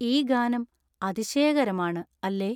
ഈ ഗാനം അതിശയകരമാണ് അല്ലേ